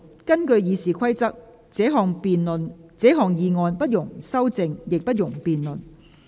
根據《議事規則》，這項議案不容修正，亦不容辯論。